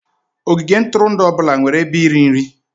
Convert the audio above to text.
Ogige ntụrụndụ ọ bụla nwere ebe iri nri